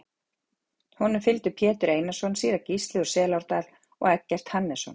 Honum fylgdu Pétur Einarsson, síra Gísli úr Selárdal og Eggert Hannesson.